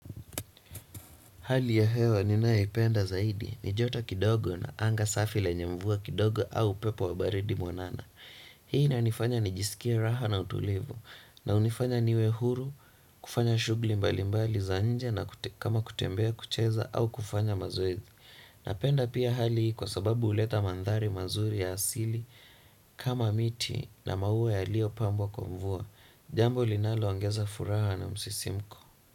Hali ya hewa ninaipenda zaidi, ni joto kidogo na anga safi lenye mvua kidogo au pepo wa baridi mwanana. Hii inanifanya nijisikie raha na utulivu, na hunifanya niwe huru, kufanya shugli mbali mbali za nje na kama kutembea kucheza au kufanya mazoezi. Napenda pia hali hii kwa sababu uleta mandhari mazuri ya asili kama miti na maua yalio pambwa kwa mvua. Jambo linalo angeza furaha na msisimko.